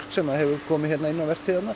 sem hefur komið hér inn á